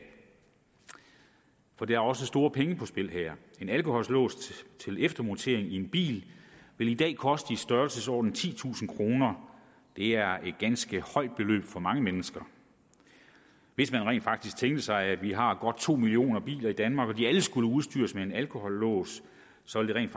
for der er også store penge på spil her en alkolås til eftermontering i en bil vil i dag koste i størrelsesordenen titusind kroner det er et ganske højt beløb for mange mennesker hvis man rent faktisk tænkte sig at vi har godt to millioner biler i danmark skulle udstyres med en alkolås så ville